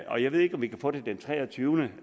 jeg ved ikke om vi kan få det den treogtyvende